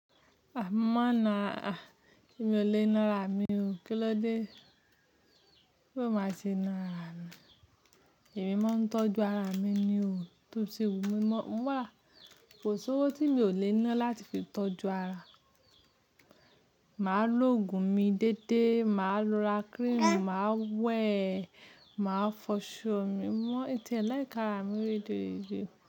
A mo máa ń na ara, èmi ò le ná ara mi o. Kí ló dé bo máa ṣe ná ara mi? Èmi máa ń tọ́jú ara mi ni o. To ṣe wù mí mọ́, mó wa. Kò sowó tí mi ò le ná láti fi tọ́jú ara. Máa loògùn mi dédé, màá lo ra cream, màá wẹ̀, màá fọṣọ mi, mọ́ e tíe like ara mi rederede.